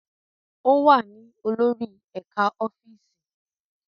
Ó wà ní olórí ẹ̀ka ọ́fíìsì.